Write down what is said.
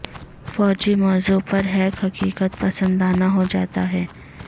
فوجی موضوع پر ہیک حقیقت پسندانہ ہو جاتا ہے